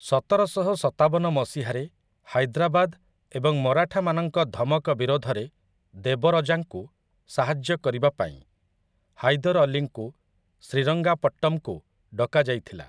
ସତରଶହ ସତାବନ ମସିହାରେ ହାଇଦ୍ରାବାଦ ଏବଂ ମରାଠାମାନଙ୍କ ଧମକ ବିରୋଧରେ ଦେବରଜାଙ୍କୁ ସାହାଯ୍ୟ କରିବା ପାଇଁ ହାଇଦର୍‌ ଅଲୀଙ୍କୁ ଶ୍ରୀରଙ୍ଗାପଟ୍ଟମ୍‌କୁ ଡକାଯାଇଥିଲା ।